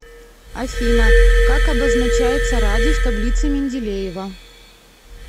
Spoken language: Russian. афина как обозначается радий в таблице менделеева